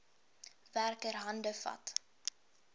werker hande vat